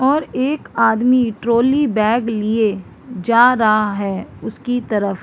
और एक आदमी ट्रॉली बैग लिए जा रहा है उसकी तरफ --